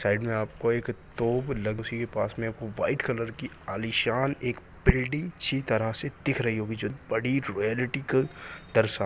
side में आपको एक टोप लगी उसी के पास में आपको वाइट कलर की आलिशान एक बिल्डिंग तरह से दिख रही होगी जो बड़ी रॉयल्टी क दर्शा--